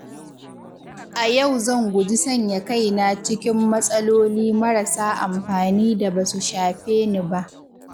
A yau zan guji sanya kaina cikin matsaloli marasa amfani da basu shafe ni ba.